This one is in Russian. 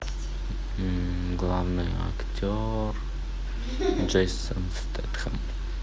главный актер джейсон стэтхэм